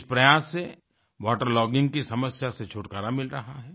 इस प्रयास से वाटर लॉगिंग की समस्या से छुटकारा मिल रहा है